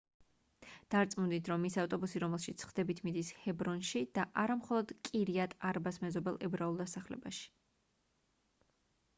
დარწმუნდით რომ ის ავტობუსი რომელშიც სხდებით მიდის ჰებრონში და არა მხოლოდ კირიატ-არბას მეზობელ ებრაულ დასახლებაში